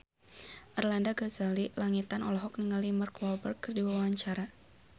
Arlanda Ghazali Langitan olohok ningali Mark Walberg keur diwawancara